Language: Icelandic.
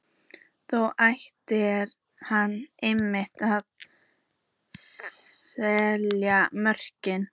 Þar ætlaði hann einmitt að salla mörkunum inn!